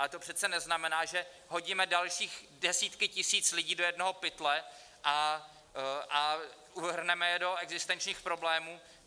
Ale to přece neznamená, že hodíme další desítky tisíc lidí do jednoho pytle a uvrhneme je do existenčních problémů.